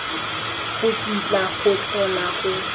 go kitla go tlhola go